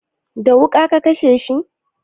Da wuƙa ka kashe shi?